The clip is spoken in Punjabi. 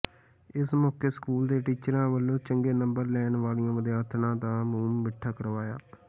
ਇਸ ਮੌਕੇ ਸਕੂਲ ਦੇ ਟੀਚਰਾਂ ਵੱਲੋਂ ਚੰਗੇ ਨੰਬਰ ਲੈਣ ਵਾਲੀਆਂ ਵਿਦਿਆਰਥਣਾਂ ਦਾ ਮੂੰਹ ਮਿੱਠਾ ਕਰਵਾਇਆ